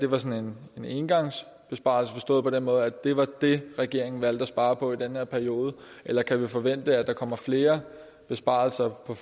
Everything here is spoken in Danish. var sådan en engangsbesparelse forstået på den måde at det var det regeringen valgte at spare på i den her periode eller kan vi forvente at der kommer flere besparelser på